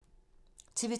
TV 2